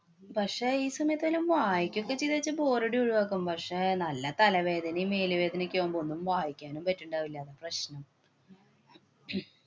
പക്ഷേ, ഈ സമയത്തു വല്ലോം വായിക്കുകയും ഒക്കെ ചെയ്തുന്നു വച്ചാല്‍ ബോറടി ഒഴിവാക്കാം. പക്ഷേ, നല്ല തലവേദനയും, മേല് വേദനയൊക്കെ ആവുമ്പോ ഒന്നും വായിക്കാനും പറ്റുണ്ടാവില്ല. അതാണ് പ്രശ്നം.